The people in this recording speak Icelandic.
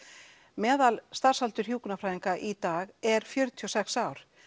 meðal starfsaldur hjúkrunarfræðinga í dag er fjörutíu og sex ár